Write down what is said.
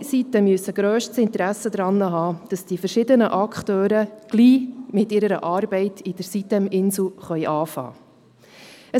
Alle Seiten müssen grösstes Interesse daran haben, dass die verschiedenen Akteure mit ihrer Arbeit an der sitem-insel bald beginnen können.